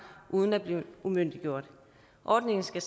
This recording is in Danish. uden at blive umyndiggjort ordningen skal